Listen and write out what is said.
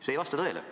See ei vasta tõele.